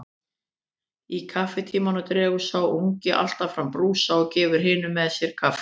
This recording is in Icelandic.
Í kaffitímanum dregur sá ungi alltaf fram brúsa og gefur hinum með sér kaffi.